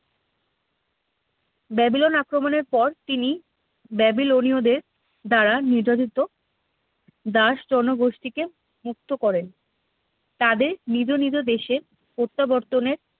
Babylon আক্রমণের পর তিনি ব্যাবিলনীয় দের দ্বারা নির্যাতিত দাস জনগোষ্ঠীকে মুক্ত করেন তাদের নিজ নিজ দেশে প্রত্যাবর্তনের